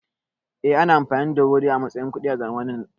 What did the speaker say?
Eh, ana amfani da wuri a matsayin kuɗi a zamanin da